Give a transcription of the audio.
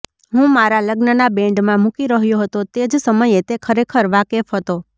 હું મારા લગ્નના બેન્ડમાં મૂકી રહ્યો હતો તે જ સમયે તે ખરેખર વાકેફ હતો